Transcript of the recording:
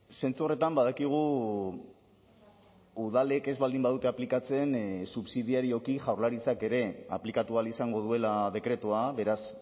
zentzu horretan badakigu udalek ez baldin badute aplikatzen subsidiarioki jaurlaritzak ere aplikatu ahal izango duela dekretua beraz